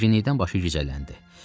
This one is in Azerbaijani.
Gərginlikdən başı gicəlləndi.